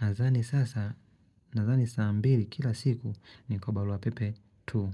Nazani sasa, nazani saa mbili kila siku ni kwa balua pepe 2.